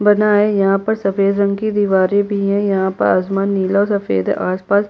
बनाया है यहाँ पर सफ़ेद रंग की दीवारे भी है यहाँ पर आसमान नीला सफेद है आसपास --